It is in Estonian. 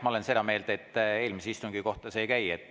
Jah, ma olen seda meelt, et eelmise istungi kohta see ei käi.